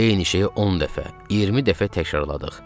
Eyni şeyi 10 dəfə, 20 dəfə təkrarladıq.